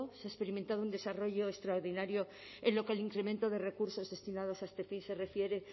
se ha experimentado un desarrollo extraordinario en lo que al incremento de recursos destinados a este fin se refiere